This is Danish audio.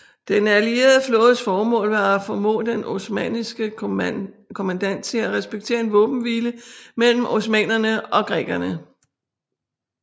Den allierede flådes formål var at formå den osmanniske kommandant til at respektere en våbenhvile mellem osmannerne og grækerne